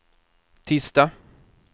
tisdag